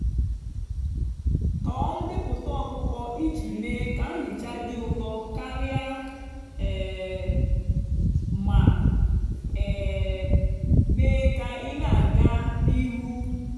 tọọ ndepụta ọkpụkpọ iji mee ka nhicha dị ụtọ karịa um ma um mee ka ị na-aga n'ihu.